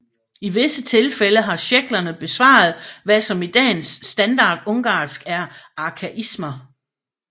I vise tilfælde har szeklerne bevaret hvad som i dagens standardungarsk er arkaismer